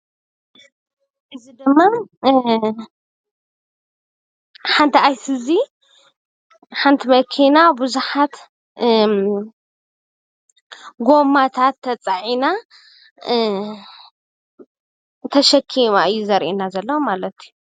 ዝተፈላለዩ ካብ ፕላስቲክ ዝተሰርሑ ጎማታት ዝተፀዓነት መኪና የርእየና።